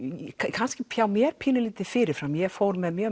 kannski hjá mér pínulítið fyrir fram ég fór með mjög